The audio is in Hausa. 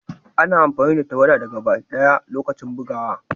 Ana amfani da tawada da gaba daya a' lokacin bugowa.